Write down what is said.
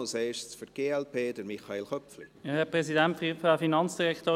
Als Erstes für die glp: Michael Köpfli.